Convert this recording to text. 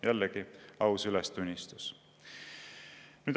" Jällegi aus ülestunnistus.